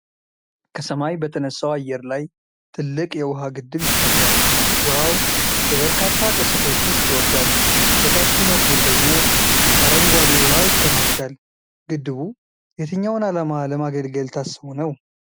ከሰማይ በተነሳው አየር ላይ ትልቅ የውሃ ግድብ ይታያል። ውሃው በበርካታ ቅስቶች ውስጥ ይወርዳል፣ በታችኛው ክፍል ደግሞ አረንጓዴ ውሃ ይከማቻል። ግድቡ የትኛውን ዓላማ ለማገልገል ታስቦ ነው?